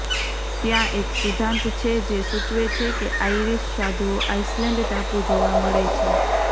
ત્યાં એક સિદ્ધાંત છે જે સૂચવે છે કે આઇરિશ સાધુઓ આઇસલેન્ડ ટાપુ જોવા મળે છે